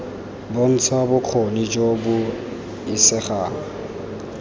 bontsha bokgoni jo bo isegang